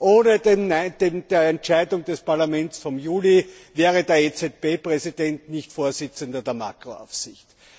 Ohne die Entscheidung des Parlaments vom Juli wäre der EZB Präsident nicht Vorsitzender der Makro Aufsicht.